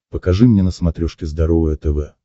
покажи мне на смотрешке здоровое тв